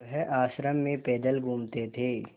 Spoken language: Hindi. वह आश्रम में पैदल घूमते थे